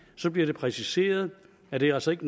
så bliver det præciseret at det altså ikke